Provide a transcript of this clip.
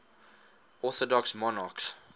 orthodox monarchs